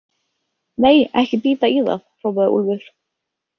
Nei, ekki bíta í það, hrópaði Úlfur.